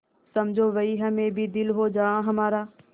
समझो वहीं हमें भी दिल हो जहाँ हमारा